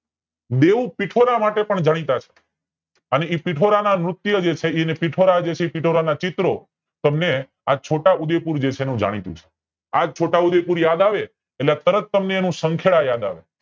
બેવ પિથોરા માટે પણ જાણીતા છે અને પિઠોરાના નૃત્ય જે છે એ પિથોરા જે છે એ પિઠોરાના ચિત્ર તમને છોટાઆ ઉદયપૂર માટે જે છે જાણીતું છે આ છોટા ઉદેયપુર તમને યાદ આવે એટલે તરત સંખેડા યાદ આવે